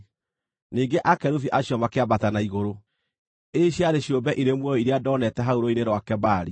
Ningĩ akerubi acio makĩambata na igũrũ. Ici ciarĩ ciũmbe irĩ muoyo iria ndoonete hau Rũũĩ-inĩ rwa Kebari.